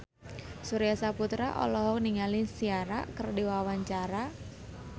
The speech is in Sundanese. Surya Saputra olohok ningali Ciara keur diwawancara